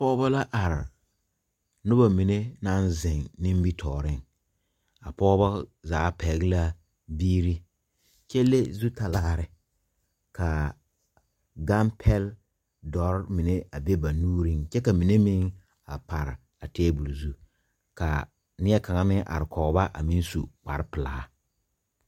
Pɔgba la arẽ nuba mene nang zeng nimitoɔring a pɔgba zaa pɛgla biiri kye le zutalaare kaa gangpɛl dɔri mene a be ba nuuring kye ka mene meng a pare a tabol zu ka nie kang meng arẽ kɔgba a meng su kpare pelaa.